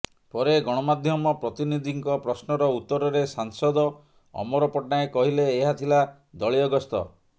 ପରେ ଗଣମାଧ୍ୟମ ପ୍ରତିନିଧିଙ୍କ ପ୍ରଶ୍ନର ଉତ୍ତରରେ ସାଂସଦ ଅମର ପଟ୍ଟନାୟକ କହିଲେ ଏହା ଥିଲା ଦଳୀୟ ଗସ୍ତ